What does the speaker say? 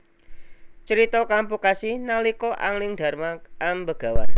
Crita kapungkasi nalika Anglingdarma ambegawan